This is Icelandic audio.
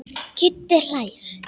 Kiddi hlær.